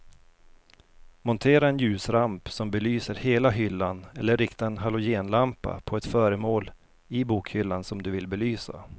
Montera en ljusramp som belyser hela hyllan eller rikta en halogenlampa på ett föremål i bokhyllan som du vill belysa.